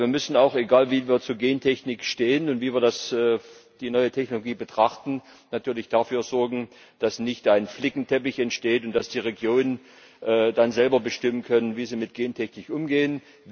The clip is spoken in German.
Denn wir müssen auch, egal wie wir zur Gentechnik stehen und wie wir die neue Technologie betrachten, natürlich dafür sorgen, dass nicht ein Flickenteppich entsteht und dass die Regionen dann selber bestimmen können, wie sie mit Gentechnik umgehen.